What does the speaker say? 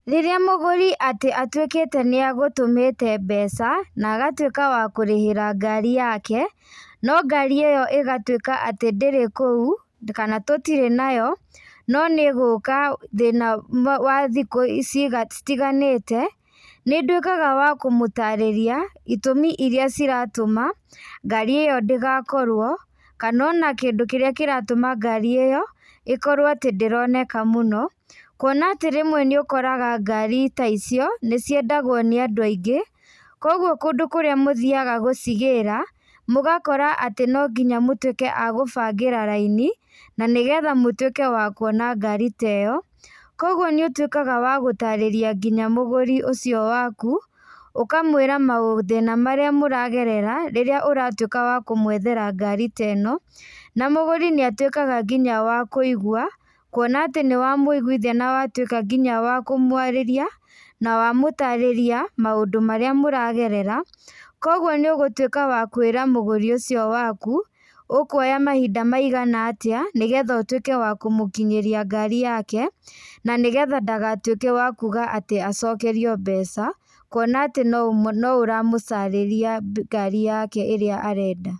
Rĩrĩa mũgũri atĩ atuĩkĩte nĩagũtũmĩte mbeca, na agatuĩka wa kũrihara ngari yake, no ngari ĩyo ĩgatuĩka atĩ ndĩrĩ kũu, kana tũtĩrĩ nayo, no nĩgũka thĩna wa thikũ ici citiganĩte, nĩnduĩkaga wa kũmũtarĩria, itumi iria ciratũma, ngari ĩyo ndĩgakorwo, kana ona kindũ kĩrĩa kĩratuma ngari ĩyo, ĩkorwo atĩ ndĩroneka mũno, kuona atĩ rĩmwe nĩũkoraga ngari ta icio, nĩciendagwo nĩ andũ aingĩ, koguo kũndũ kũrĩa mũthiaga gũcigĩra, mũgakora atĩ nonginya mũtuĩke a gũbangĩra raini, na nĩgetha mũtuĩke wa kuona ngari ta ĩyo, koguo nĩũtuĩkaga wa gũtarĩria nginya mũgũri ũcio waku, ũkamwĩra maũ mathĩna marĩa mũragerera, rĩrĩa ũratũĩka wa kũmwethera ngari ta ĩno, na mũgũri nĩatuĩkaga nginya wa kũigua, kuona atĩ nĩwamũiguithia na watuĩka nginya wakũmwarĩria, na wamũtarĩria, maũndũ marĩa mũragerera, koguo nĩũgũtuĩka wa kwĩra mũgũri ũcio waku, ũkuoya mahinda maigana atĩa, nĩgetha ũtuĩke wa kũmũkinyĩria ngari yake, na nĩgetha ndagatuĩke wa kuga atĩ acokerio mbeca, kuona atĩ no noũramũcarĩria ngari yake ĩrĩa arenda.